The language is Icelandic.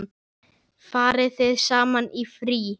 Farið þið saman í frí?